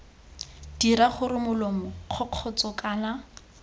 dira gore molomo kgokgotsho kana